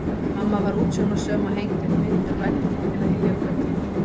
Mamma var útsjónarsöm og hengdi upp myndir og veggteppi til að hylja götin.